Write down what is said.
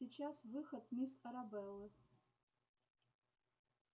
сейчас выход мисс арабеллы